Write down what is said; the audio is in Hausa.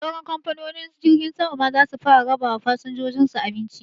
Sauran kamfanonin jirgin sama ma zasu fara raba wa fasinjojin su abinci